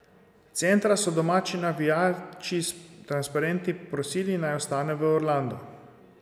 Centra so domači navijači s transparenti prosili, naj ostane v Orlandu.